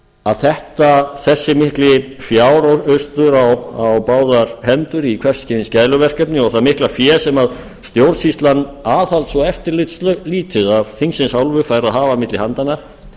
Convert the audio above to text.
að þessi mikli fjáraustur á báðar hendur í hvers kyns gæluverkefni og það mikla fé sem stjórnsýslan aðhalds og eftirlitslítið af þingsins hálfu fær að hafa milli handanna